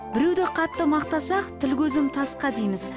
біреуді қатты мақтасақ тіл көзім тасқа дейміз